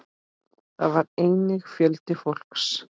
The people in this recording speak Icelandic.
Þar var einnig fjöldi fólks.